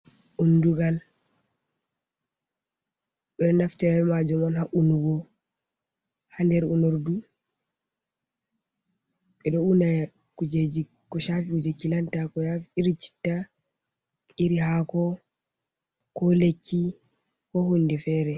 Undugal ɓeɗo naftira ɓe majum on ha unugo, ha nɗ er unordu ɓeɗo una kujeji ko shafi je ki lanta ko iri citta, iri hako lekki, ko hunde fere.